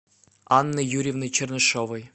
анны юрьевны чернышевой